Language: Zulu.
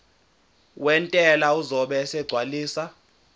wentela uzobe esegcwalisa